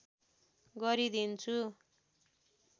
गरि दिन्छु